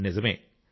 నిజమే